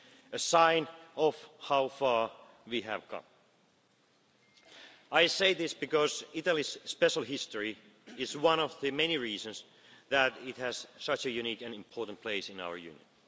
A sign of how far we have come. I say this because Italy's special history is one of the many reasons that it has such a unique and important place in our Union.